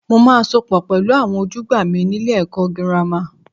Mo máa sopọ̀ pẹ̀lú àwọn ojúgbà mi nílé ẹ̀kọ́ girama.